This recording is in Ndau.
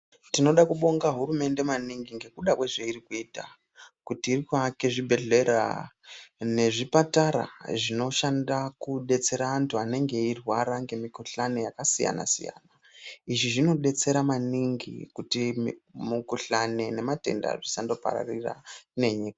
Tinoda kubonga hurumende maningi ngekuda kwezveiri kuita, kuti iri kuake zvibhedhlera nezvipatara zveinoshanda kudetsera anthu anenge eirwara ngemikuhlani yakasiyana-siyana izvi zvinodetsera maningi kuti mukuhlani nematenda zvisandopararira nenyika.